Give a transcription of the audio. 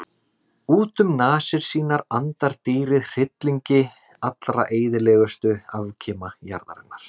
Út um nasir sínar andar dýrið hryllingi allra eyðilegustu afkima jarðarinnar.